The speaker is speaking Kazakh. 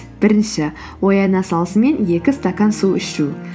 бірінші ояна салысымен екі стакан су ішу